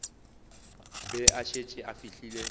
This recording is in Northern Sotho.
be a šetše a fihlile